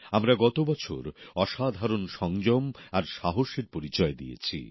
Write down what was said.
আমরা গত বছর অসাধারণ সংযম আর সাহসের পরিচয় দিয়েছি